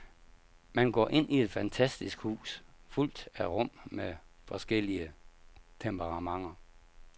Man går rundt i et fantastisk hus, fuldt af rum med forskellige temperamenter.